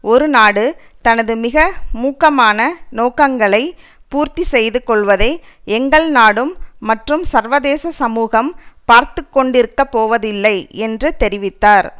ஒரு நாடு தனது மிக மூர்க்கமான நோக்கங்களை பூர்த்தி செய்து கொள்வதை எங்கள் நாடும் மற்றும் சர்வதேச சமூகம் பார்த்துக்கொண்டிருக்கப்போவதில்லை என்று தெரிவித்தார்